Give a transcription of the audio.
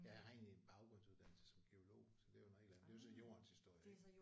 Ja jeg har egentlig en baggrundsuddannelse som geolog så det er jo noget helt andet det er jo så Jordens historie